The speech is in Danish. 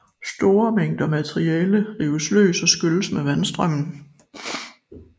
Store mængder materiale rives løs og skylles med vandstrømen